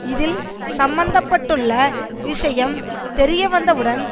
இதல் சம்பந்த பட்டுள்ள விஷயம் தெரிய வந்தவுடன்